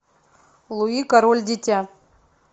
луи король дитя